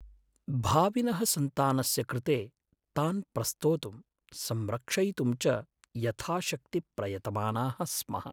भाविनः सन्तानस्य कृते तान् प्रस्तोतुं, संरक्षयितुं च यथाशक्ति प्रयतमानाः स्मः।